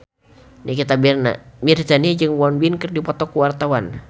Nikita Mirzani jeung Won Bin keur dipoto ku wartawan